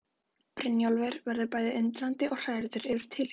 Brynjólfur verður bæði undrandi og hrærður yfir tilhugsuninni.